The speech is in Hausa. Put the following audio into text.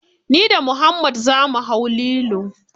Ni da muhammad za mu hau lilo.